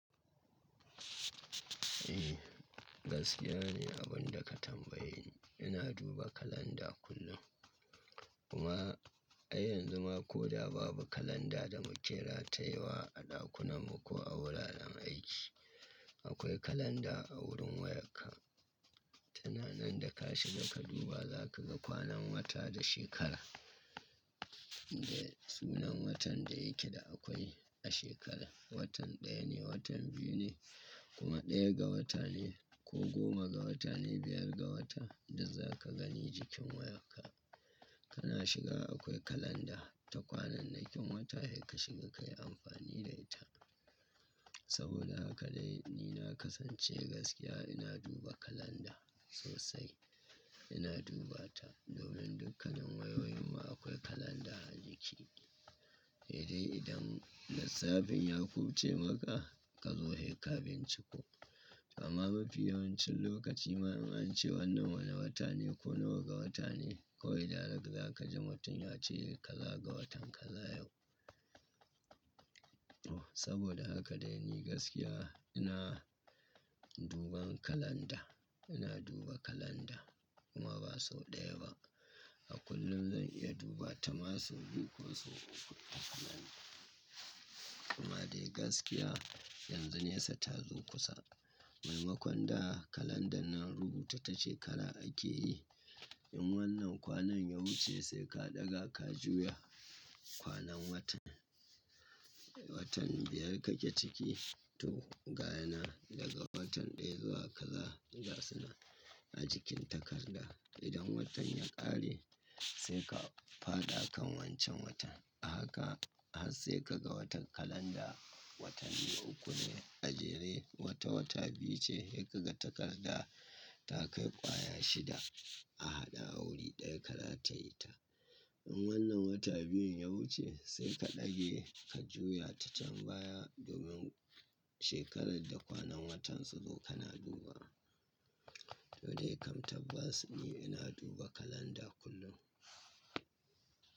Eh, gaskiya ni abin da ka tambaye ni. Ina duba kalanda kullum. Kuma ai yanzu ma ko da babu kalanda da mu ke ratayewa a ɗakunan mu ko a wuraren aiki, akwai kalanda a wurin wayarka. Tananan da ka shiga ka duba za ka ga kwanan wata da shekara da sunan watan da yake da akwai a shekara. Watan ɗaya ne, watan biyu ne kuma ɗaya ga wata ne ko goma ga wata ne, biyar ga wata da za ka gani jikin wayarka. Kana shiga akwai kalanda ta kwanannakin wata, da ka shiga ka yi amfani da ita. Saboda haka dai ni na kasance gaskiya ina duba kalanda sosai. Ina duba ta domin dukkanin wayoyin mu akwai kalanda a jiki. Eh, idan lissafin ya kufce maka ka zo sai ka binciko. Amma mafi yawancin lokaci in an ce wannan wane wata ne ko nawa ga wata ne, kawai direct za ka ji mutum ya ce ka za ga watan kaza yau. Saboda haka dai ni gaskiya ina duban kalanda, ina duba kalanda kuma ba sau ɗaya ba. A kullum zan iya duba ta masu biyu ko sau uku. Kuma dai gaskiya yanzu nesa ta zo kusa. Maimakon da kalandan nan rubuta ta shekara ake yi. In wannan kwanan ya wuce sai ka ɗaga ka juya kwanan watan. Watan biyar kake ciki to gaye nan daga fatan ɗaya zuwa kaza da sunan a jikin takarda. Idan watan ya ƙare sai ka faɗa kan wancan watan. A haka har sai ka ga wata kalanda watan biyu uku ne a jere wata wata biyu ce sai ka ga takarda ta kai ƙwaya shida a haɗa a wuri ɗaya ka rataye ta. In wannan wata biyun ya wuce sai ka ɗage ka juya ta can baya domin shekarar da kwanan watan su zo kana duba. To dai kam tabbas ni ina duba kalanda kullum.